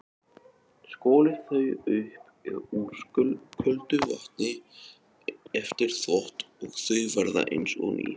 Skolið þau upp úr köldu vatni eftir þvott og þau verða eins og ný.